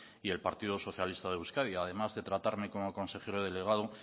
y el partido socialista de euskadi además de tratarme como consejero delegado